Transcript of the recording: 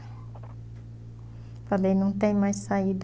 Falei, não tem mais saída.